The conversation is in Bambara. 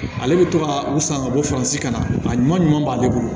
Ale bɛ to ka u san ka bɔ furancɛ ka na a ɲuman ɲuman b'ale bolo